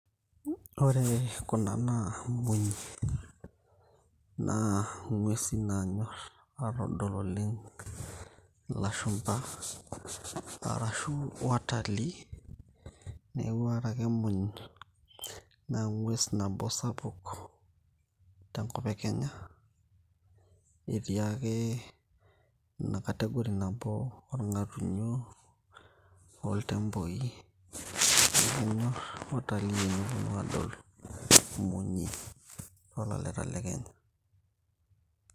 ore kuna na imunyi naa ing'uesin naanyorr atodol oleng' ilashumpa arashu watalii neeku ore ake emuny naa eng'ues nabo sapuk tenkop e kenya etii ake ina category nabo orng'atunyo oltemboi kenyorr watalii eneponu adol imunyi toolaleta le kenya.